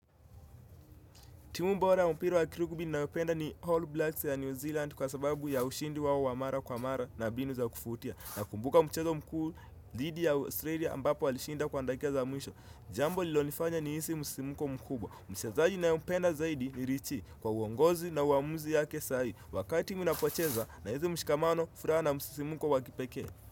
Timu bora ya mpira wa kirugby ninaopenda ni All Blacks ya New Zealand kwa sababu ya ushindi wao wa mara kwa mara na mbinu za kufutia Nakumbuka mchezo mkuu dhidi ya Australia ambapo walishinda kwa dakika za mwisho Jambo lililonifanya nihisi msisimko mkubwa Mchezaji ninayompenda zaidi ni richi kwa uongozi na uamuzi yake sahi Wakati mnapocheza nahizi mshikamano furaa na msisimuko wa kipekee.